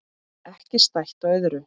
Ekki stætt á öðru.